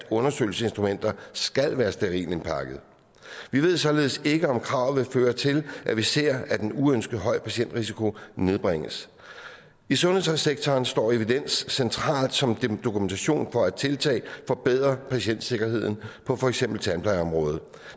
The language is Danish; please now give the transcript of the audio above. undersøgelsesinstrumenter skal være sterilt indpakkede vi ved således ikke om kravet vil føre til at vi ser at en uønsket høj patientrisiko nedbringes i sundhedssektoren står evidens centralt som dokumentation for at tiltag forbedrer patientsikkerheden på for eksempel tandplejeområdet